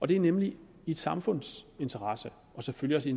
det er nemlig i et samfunds interesse og selvfølgelig